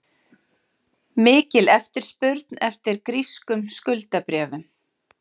Mikil eftirspurn eftir grískum skuldabréfum